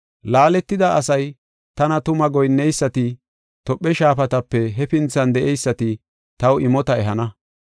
Laaletida asay, tana tuma goyinneysati, Tophe shaafatape hefinthan de7eysati taw imota ehana.